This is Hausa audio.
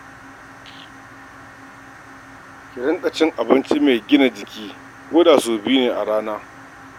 Ki riƙa cin abinci mai gina jiki ko da sau biyu ne a rana.